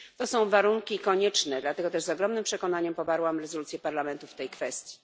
To są warunki konieczne, dlatego też z ogromnym przekonaniem poparłam rezolucję Parlamentu w tej kwestii.